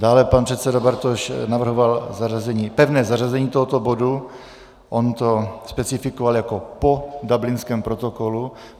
Dále pan předseda Bartoš navrhoval pevné zařazení tohoto bodu, on to specifikoval jako po Dublinském protokolu.